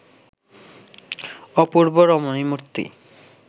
অপূর্ব রমণীমূর্তি